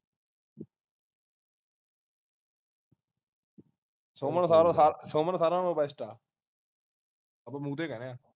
ਸਾਰਾ ਤੋਂ best ਆ ਆਪਾ ਮੂੰਹ ਤੇ ਕਹਿੰਨੇ ਆ